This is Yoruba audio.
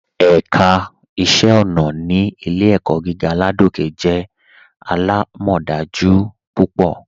Ẹ̀ká iṣẹ̀ ọ̀nà ni Ilẹ̀-ẹ̀kọ̀ gígà Ládòkè jẹ́ alámọdájú púpọ.